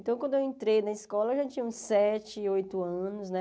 Então, quando eu entrei na escola, eu já tinha uns sete, oito anos, né?